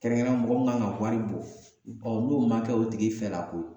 Kɛrɛnkɛrɛnna mɔgɔ mun kan ka wari bɔ, n'o ma kɛ o tigi fɛla ko ye